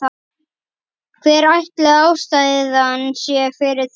Hver ætli ástæðan sé fyrir því?